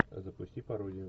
запусти пародию